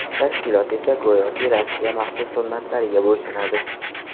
Tashkilot esa go‘yoki Rossiya maxsus xizmatlariga bo‘ysunadi.